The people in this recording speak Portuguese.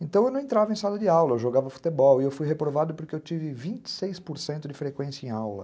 Então eu não entrava em sala de aula, eu jogava futebol e eu fui reprovado porque eu tive vinte e seis por cento de frequência em aula.